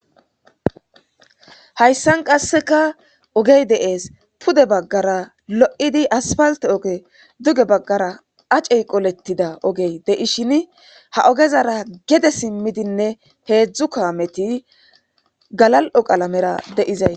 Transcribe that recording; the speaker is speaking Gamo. Hayssan qassekka ogeyi de7eesi. Pude baggara lo7iddi asfaltte ogeyi,duge baggara acey qoletida ogeyi de7ishin ha ogezara gede simmidinne heedzu kaameti galal7o qalamara de7izaytti...